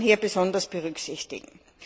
Das muss man hier besonders berücksichtigen.